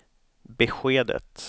beskedet